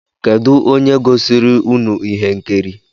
Kedụ onye gosiri ụnụ ihe nkiri?